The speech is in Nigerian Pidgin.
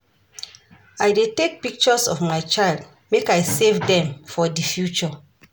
I dey take plenty pictures of my child make I save dem for di future.